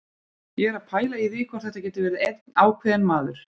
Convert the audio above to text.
Ég er að pæla í því hvort þetta geti verið einn ákveðinn maður.